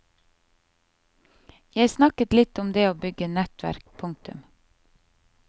Jeg snakket litt om det å bygge nettverk. punktum